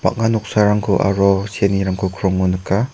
noksarangko aro seanirangko krongo nika.